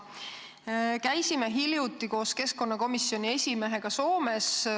Me käisime hiljuti koos keskkonnakomisjoni esimehega Soomes.